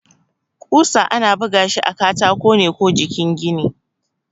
ƙusa ana bugashi a katako ne ko jikin gini.